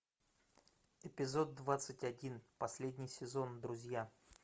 эпизод двадцать один последний сезон друзья